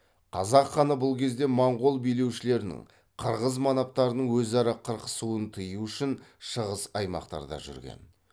қазақ ханы бұл кезде моңғол билеушілерінің қырғыз манаптарының өзара қырқысуын тыю үшін шығыс аймақтарда жүрген